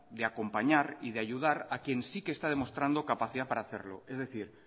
de acompañar y de ayudar a quien sí está demostrando capacidad para hacerlo es decir